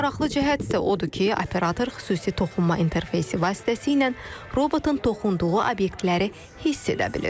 Ən maraqlı cəhət isə odur ki, operator xüsusi toxunma interfeysi vasitəsilə robotun toxunduğu obyektləri hiss edə bilir.